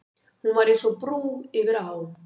Hún var eins og brú yfir á.